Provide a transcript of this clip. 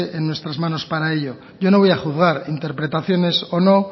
en nuestras manos para ello yo no voy a juzgar interpretaciones o no